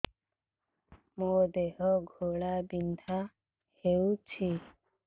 ମୋ ଦେହ ଘୋଳାବିନ୍ଧା ହେଉଛି